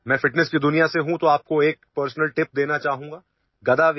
मी तंदुरुस्तीच्या जगात वावरतो म्हणून तुम्हाला एक व्यक्तिगत सल्ला देऊ इच्छितो